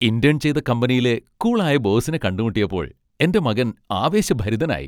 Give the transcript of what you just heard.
Intern ചെയ്ത കമ്പനിയിലെ cool ആയ ബോസിനെ കണ്ടുമുട്ടിയപ്പോൾ എന്റെ മകൻ ആവേശഭരിതനായി.